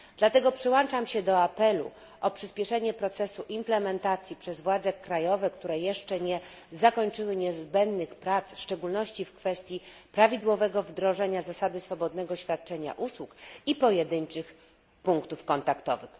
Dlatego przyłączam się do apelu o przyśpieszenie procesu implementacji przez władze krajowe, które jeszcze nie zakończyły niezbędnych prac, w szczególności w kwestii prawidłowego wdrożenia zasady swobodnego świadczenia usług i pojedynczych punktów kontaktowych.